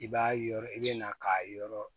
I b'a yɔrɔ i be na k'a yɔrɔ